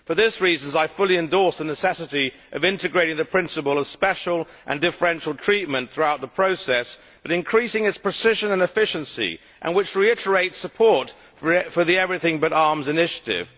For these reasons I fully endorse the necessity of integrating the principle of special and differential treatment throughout the process and increasing its precision and efficiency, and reiterating support for the Everything But Arms initiative.